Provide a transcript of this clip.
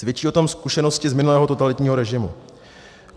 Svědčí o tom zkušenosti z minulého totalitního režimu.